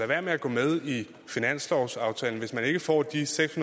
være med at gå med i finanslovsaftalen hvis man ikke får de seks